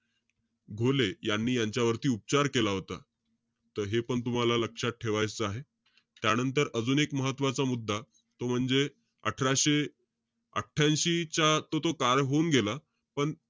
घोले, यांनी यांच्यावरती उपचार केला होता. त हेपण तुम्हाला लक्षात ठेवायचं आहे. त्यानंतर, अजून एक महत्वाचा मुद्दा, तो म्हणजे अठराशे अठ्ठयांशी चा तो-तो काळ होऊन गेला. पण,